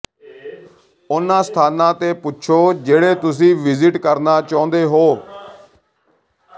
ਉਨ੍ਹਾਂ ਸਥਾਨਾਂ ਤੇ ਪੁੱਛੋ ਜਿਹੜੇ ਤੁਸੀਂ ਵਿਜ਼ਿਟ ਕਰਨਾ ਚਾਹੁੰਦੇ ਹੋ